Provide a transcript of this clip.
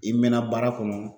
I mɛna baara kɔnɔ